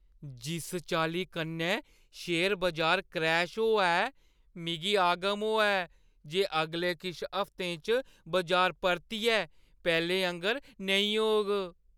जिस चाल्ली कन्नै शेयर बजार क्रैश होआ ऐ, मिगी आगम होआ ऐ जे अगले किश हफ्तें च बजार परतियै पैह्‌लें आंह्‌गर नेईं होग।